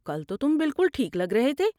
کل تو تم بالکل ٹھیک لگ رہے تھے۔